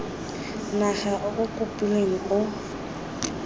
naga o o kopilweng o